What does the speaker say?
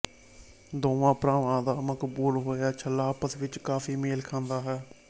ਦੋਵਾਂ ਭਰਾਵਾਂ ਦਾ ਬਹੁਤ ਮਕਬੂਲ ਹੋਇਆ ਛੱਲਾ ਆਪਸ ਵਿੱਚ ਕਾਫੀ ਮੇਲ ਖਾਂਦਾ ਹੈ